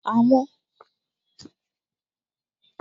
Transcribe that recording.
Àwọn